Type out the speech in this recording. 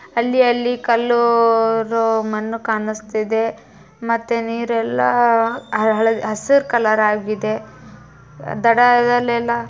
ಅಲ್ಲಿ-ಅಲ್ಲಿ ಕಲ್ಲು ಉಹ್ ಮಣ್ಣು ಕಾಣುಸ್ತಿದೆ ಮತ್ತೆ ನೀರೆಲ್ಲ ಹಳದಿ ಹಸುರ್ ಕಲರ್ ಆಗಿದೆ. ದಡದಲ್ಲೆಲ್ಲ